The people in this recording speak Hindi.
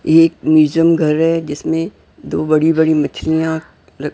ये एक म्यूजियम घर है जिसमें दो बड़ी-बड़ी मछलियां'--